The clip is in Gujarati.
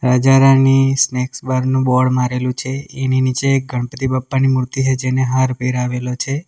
રાજા રાની સ્નેક્સ બાર નું બોર્ડ મારેલું છે એની નીચે ગણપતિ બાપ્પાની મૂર્તિ છે જેને હાર પેરાવેલો છે.